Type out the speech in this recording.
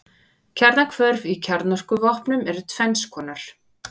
Kjarnahvörf í kjarnorkuvopnum eru tvenns konar.